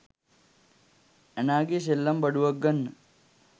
ඇනාගේ සෙල්ලම් බඩුවක් ගන්න